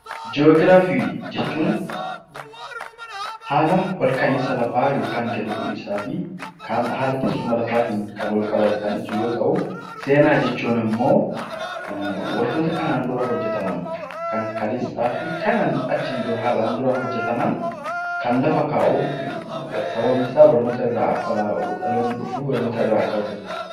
Ji'oogiraafii jechuun haala ol ka'iinsa lafaa yookiin gad bu'iinsa fi kan haala teessuma lafaatiin wal qabate kan ibsu yoo ta'u, seenaa jechuun immoo waantota kanaan dura hojjetaman kan kaleessaa fi achiin dura hojjetaman kan lafa kaa'u sababni isaa dhaloonni dhufu barnoota akka irraa argatuuf.